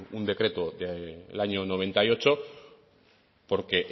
un decreto del año noventa y ocho porque